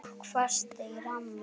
Fólk fast í ramma?